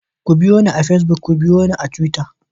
Ku biyo ni a pacebuk, ku biyo ni a Twitter.